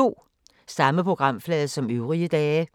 Samme programflade som øvrige dage